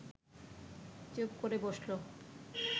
চুপ করে বসল